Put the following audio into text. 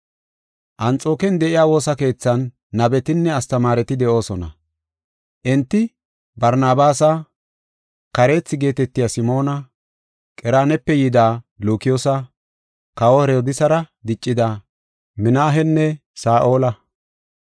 Anxooken de7iya woosa keethan nabetinne astamaareti de7oosona. Enti Barnabaasa, Kareethi geetetiya Simoona, Qereenape yida Lukiyoosa, Kawa Herodiisara diccida Minaahenne Saa7ola.